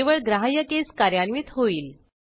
केवळ ग्राह्य केस कार्यान्वित होईल